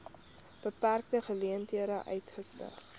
beperkte geleenthede uitgestyg